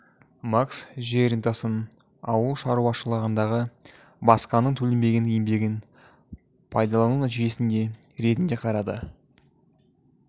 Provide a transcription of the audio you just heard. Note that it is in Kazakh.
маркс жер рентасын ауыл шаруашылығындағы басқаның төленбеген еңбегін пайдалану нәтижесі ретінде қарады